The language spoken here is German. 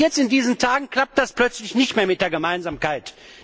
Und jetzt in diesen Tagen klappt das plötzlich nicht mehr mit der Gemeinsamkeit.